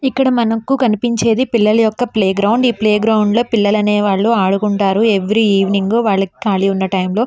ఇక్కడ మనకు కనిపించేది పిల్లలు యొక్క ప్లే గ్రౌండ్ . ఈ ప్లే గ్రౌండ్లో పిల్లలనే వాళ్ళు ఆడుకుంటారు. ఏవ్రి ఈవినింగ్ వాళ్ళకి కాళీ ఉన్న టైం లో --